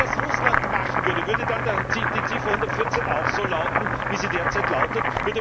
Wenn Russland das machen würde, würde dann Ziffer114 auch so lauten, wie sie derzeit lautet?